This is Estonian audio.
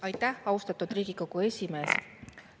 Aitäh, austatud Riigikogu esimees!